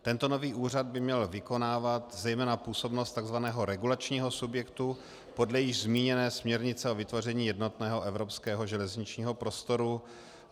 Tento nový úřad by měl vykonávat zejména působnost takzvaného regulačního subjektu podle již zmíněné směrnice o vytvoření jednotného evropského železničního prostoru.